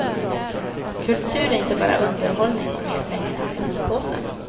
Kultur är inte bara underhållning och mer pengar till skattepåsen.